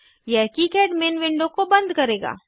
यह किकाड main window को बंद करेगा